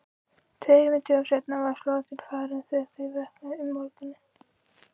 Tveimur dögum seinna var flotinn farinn þegar þau vöknuðu um morguninn.